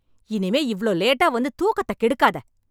இனிமே இவ்ளோ லேட்டா வந்து தூக்கத்தக் கெடுக்காத.